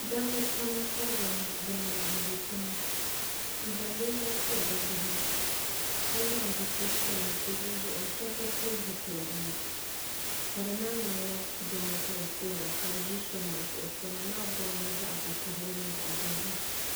da ba pam pori bɛnaba n ʒɛ tɛŋa n zaŋ bɛniyɛri pobi bɛ nyɛhi ka zaŋ zibili piɛlla n pɛli be zuɣ' shɛbi be pɛli zupilila ŋɔna ka di naaŋmɛnila jinli ka be puhiri ka be ʒɛ sons zuɣ sonamaa bomiya vakahili ni dozim